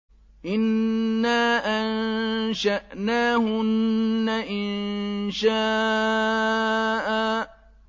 إِنَّا أَنشَأْنَاهُنَّ إِنشَاءً